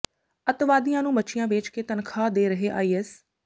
ਅੱਤਵਾਦੀਆਂ ਨੂੰ ਮੱਛੀਆਂ ਵੇਚ ਕੇ ਤਨਖ਼ਾਹ ਦੇ ਰਿਹੈ ਆਈ ਐੱਸ